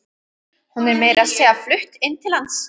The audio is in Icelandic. Hún er meira að segja flutt inn til hans.